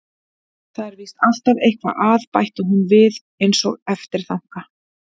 Það er víst alltaf eitthvað að, bætti hún við einsog eftirþanka.